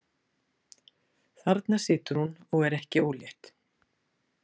Þarna situr hún og er ekki ólétt.